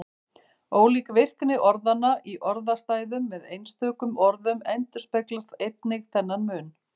Ólík virkni orðanna í orðastæðum með einstökum orðum endurspeglar einnig þennan mun.